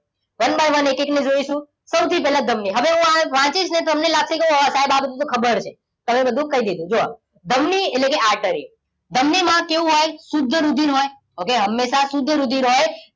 one by one એક એક ને જોઈશું. સૌથી પહેલા ધમની હવે હું આ વાંચીશ ને તો તમને લાગશે ઓ સાહેબ આ બધું તો ખબર જ છે. આ બધું તો કહી દીધું. જો ધમની એટલે artery ધમનીમાં કેવું રુધિર હોય? હંમેશા શુદ્ધ રુધિર હોય